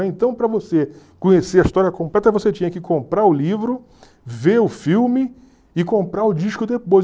Então, para você conhecer a história completa, você tinha que comprar o livro, ver o filme e comprar o disco depois.